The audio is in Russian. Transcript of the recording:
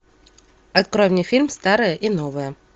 открой мне фильм старое и новое